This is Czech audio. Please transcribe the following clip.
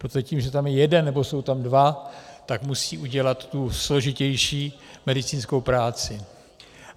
Protože tím, že tam je jeden nebo jsou tam dva, tak musí udělat tu složitější medicínskou práci.